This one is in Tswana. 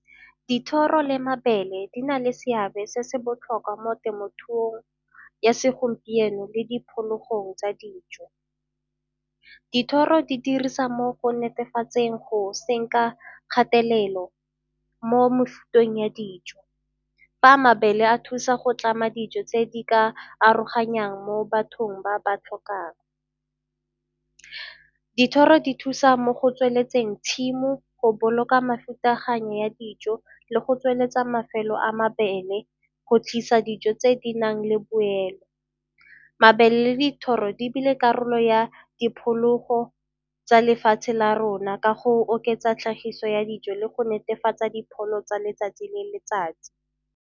Dithoro le mabele di na le seabe se se botlhokwa mo temothuong ya segompieno le diphologong tsa dijo. Dithoro di dirisa mo go netefatseng go senka kgatelelo mo mafuteng ya dijo, fa a mabele a thusa go tlama dijo tse di ka aroganyang mo bathong ba ba tlhokang. Dithoro di thusa mo go tsweletseng tshimo, go boloka mefutaganyo ya dijo le go tsweletsa mafelo a mabele go tlhagisa dijo tse di nang le boelo. Mabele le dithoro di ebile karolo ya diphologo tsa lefatshe la rona ka go oketsa tlhagiso ya dijo le go netefatsa dipono tsa letsatsi le letsatsi.